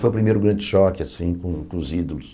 Foi o primeiro grande choque, assim, com com os ídolos.